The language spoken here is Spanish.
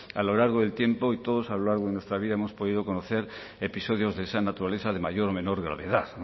a lo largo del tiempo y todos a lo largo de nuestra vida hemos podido conocer episodios de esa naturaleza de mayor o menor gravedad